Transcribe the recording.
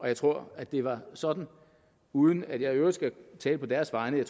jeg tror at det var sådan uden at jeg i øvrigt skal tale på deres vegne